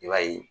I b'a ye